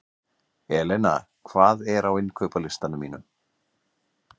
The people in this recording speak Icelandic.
Elena, hvað er á innkaupalistanum mínum?